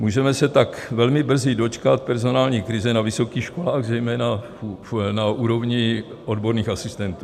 Můžeme se tak velmi brzy dočkat personální krize na vysokých školách, zejména na úrovni odborných asistentů.